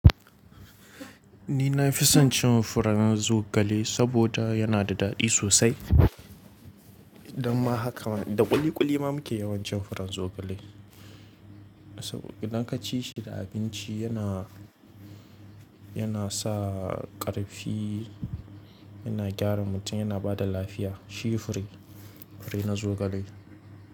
Ni na fi son cin furen zogale saboda yana da daɗi sosai. Amma haka ma da ƙuli ƙuli ma muke yawancin furen zogale. Saboda idan ka ci shi da abinci yana, yana sa ƙarfi, yana gyara mutum, yana ba da lafiya. Shi fure, fure na zogale.